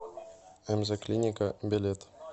мзклиника билет